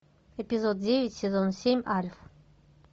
эпизод девять сезон семь альф